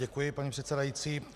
Děkuji, paní předsedající.